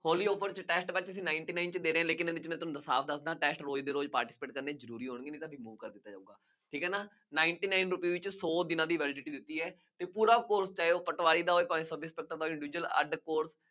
ਹੋਲੀ offer ਵਿੱਚ ninety nine ਚ ਦੇ ਰਹੇ ਹਾਂ, ਲੇਕਿਨ ਇੱਥੇ ਮੈਂ ਤੁਹਾਨੂੰ ਸਾਫ ਦੱਸ ਦਿਆਂ, ਰੋਜ਼ ਦੀ ਰੋਜ਼ participate ਠੀਕ ਹੈ ਨਾ, ninety nine rupees ਵਿੱਚ ਸੌ ਦਿਨਾ ਦੀ validity ਹੁੰਦੀ ਹੈ, ਪੂਰਾ ਕੋਰਸ ਚਾਹੇ ਉਹ ਪਟਵਾਰੀ ਦਾ ਹੋਵੇ, ਹੋਵੇ ਅੱਡ ਕੋਰਸ